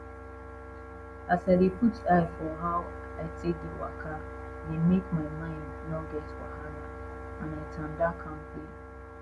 as i de put eye for how i take de waka de make my mind nor get wahala and i tanda kampe